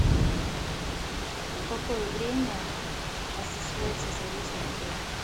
в какое время осуществляется заезд в отель